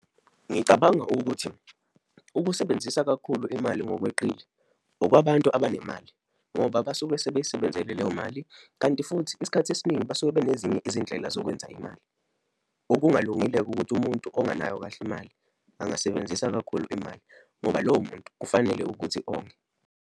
Ngicabanga ukuthi ukusebenzisa kakhulu imali ngokweqile, okwabantu abanemali ngoba basuke sebeyisebenzele leyo mali, kanti futhi isikhathi esiningi basuke benezinye izindlela zokwenza imali. Okungalungile-ke ukuthi umuntu ongenayo kahle imali, angasebenzisa kakhulu imali ngoba lowo muntu kufanele ukuthi onge.